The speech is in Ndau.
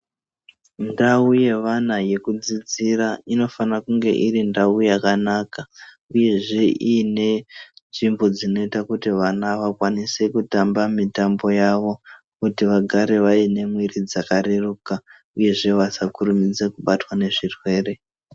Ndau yevana yekudzidzira, inofana kunge iri ndau yakanaka, uyezve iine nzvimbo dzinoita kuti vana vakwanise kutamba mitambo yavo, kuti vagare vaine mwiri dzakareruka uyezve vasakurumidze kubatwa nezvirwere.